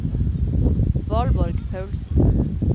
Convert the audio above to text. Valborg Paulsen